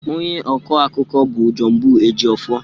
Onye ọkọ akụkọ bụ Johnbull Ejiofor.